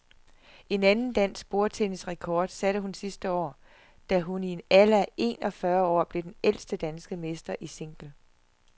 En anden dansk bordtennisrekord satte hun sidste år, da hun i en alder af en og fyrre år blev den ældste danske mester i single.